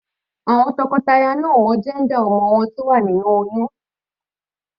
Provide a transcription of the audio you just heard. Àwọn tọkọtaya náà ò mọ jẹ́ńdà ọmọ wọn.